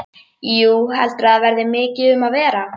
Jú, heldurðu að það verði mikið um að vera?